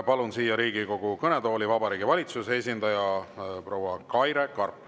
Palun siia Riigikogu kõnetooli Vabariigi Valitsuse esindaja proua Kaire Karbi.